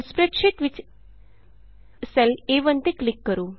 ਹੁਣ ਸਪਰੈੱਡਸ਼ੀਟ ਵਿਚ cell A one ਤੇ ਕਲਿਕ ਕਰੋ